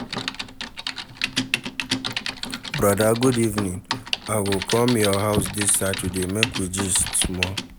Broda good evening, I go come your house dis Saturday make we gist small.